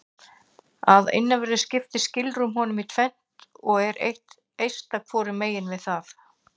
Að innanverðu skiptir skilrúm honum í tvennt og er eitt eista hvorum megin við það.